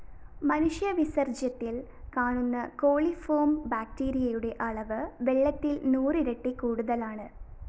മനുഷ്യവിസര്‍ജ്യത്തില്‍ കാണുന്ന കോളിഫോം ബാക്ടീരയുടെ അളവ് വെള്ളത്തില്‍ നൂറിരട്ടി കൂടുതലാണ്